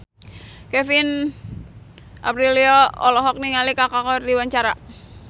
Kevin Aprilio olohok ningali Kaka keur diwawancara